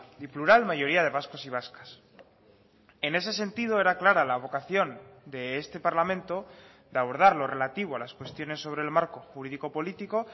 y plural mayoría de vascos y vascas en ese sentido era clara la vocación de este parlamento de abordar lo relativo a las cuestiones sobre el marco jurídico político